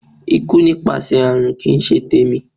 Ikú nípasẹ̀ àrùn kì í ṣe tèmi.